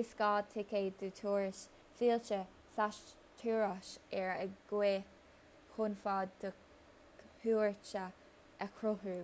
is gá ticéad do thuras fillte/thuras ar aghaidh chun fad do chuairte a chruthú